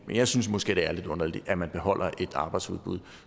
jeg synes måske det er lidt underligt at man beholder et arbejdsudbuddet